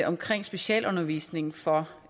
omkring specialundervisningen for